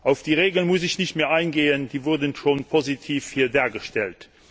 Auf diese Regeln muss ich nicht mehr eingehen, die wurden hier schon positiv dargestellt.